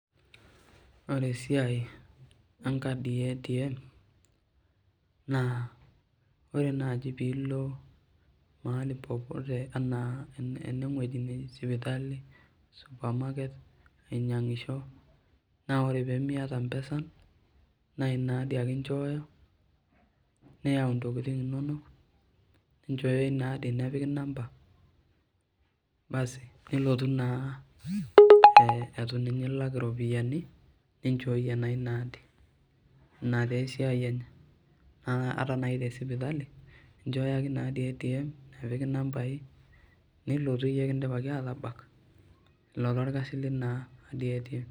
Ore esiai enkadi e ATM, naa ore naji pilo mahali popote anaa eneng'oji naji sipitali, supermarket ainyang'isho, na ore pemiata mpesan, na ina adi ake inchooyo, neeu ntokiting inonok, ninchooyo inaadi nepiki inamba, basi nilotu naa etu ninye ilak iropiyiani, ninchooyie naa inaadi. Ina tesiai enye. Ata nai tesipitali, inchooyo ake inaadi e ATM, nepiki inambai, nilotu iyie kidipaki atabak, ilo torkasi lina adi e ATM.